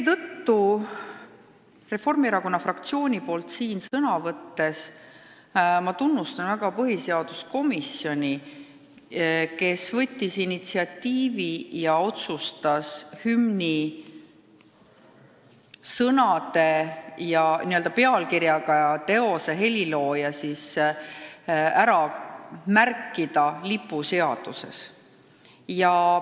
Reformierakonna fraktsiooni nimel siin sõna võttes tunnustan seetõttu väga põhiseaduskomisjoni, kes võttis initsiatiivi ja otsustas hümni sõnad, pealkirja ja ka teose helilooja ära märkida lipuseaduses.